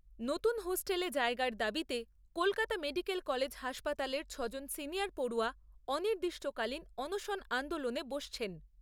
নতুন হোস্টেলে জায়গার দাবিতে কলকাতা মেডিকেল কলেজ হাসপাতালের ছ'জন সিনিয়র পড়ুয়া অনির্দিষ্টকালীন অনশন আন্দোলনে বসছেন।